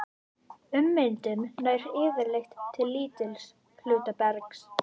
Ummyndun nær yfirleitt til lítils hluta bergs.